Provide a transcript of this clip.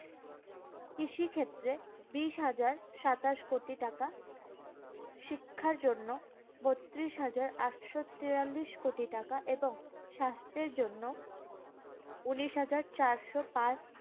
কৃষিক্ষেত্রে বিশ হাজার সাতাশ কোটি টাকা, শিক্ষার জন্য বত্রিশ হাজার আটশো তেতাল্লিশ কোটি টাকা এবং স্বাস্থ্যের জন্য উনিশ হাজার চারশো পাঁচ